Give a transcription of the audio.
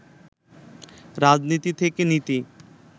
রাজনীতি থেকে নীতি